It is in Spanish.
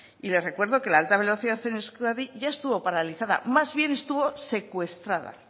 y le recuerdo que la alta velocidad en euskadi ya estuvo paralizada más bien estuvo secuestrada